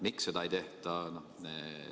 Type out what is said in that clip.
Miks seda ei tehta?